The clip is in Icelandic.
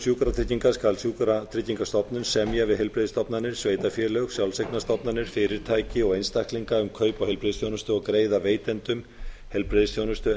sjúkratryggingar skal sjúkratryggingastofnun semja við heilbrigðisstofnanir sveitarfélög sjálfseignarstofnanir fyrirtæki og einstaklinga kaup á heilbrigðisþjónustu og greiða veitendum heilbrigðisþjónu